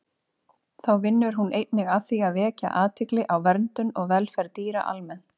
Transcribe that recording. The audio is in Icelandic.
Þá vinnur hún einnig að því að vekja athygli á verndun og velferð dýra almennt.